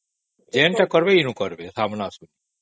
ଯାହା ବି କରିବେ ଏବେ କରିବେ